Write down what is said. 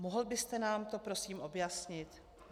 Mohl byste nám to prosím objasnit?